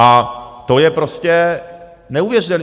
A to je prostě neuvěřitelné.